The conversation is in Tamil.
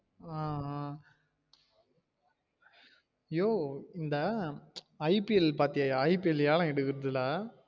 ஆஹ் ஆஹ் யோய் இந்த IPL பாத்தியயா IPL ஏலம் எடுக்குறதுள்ள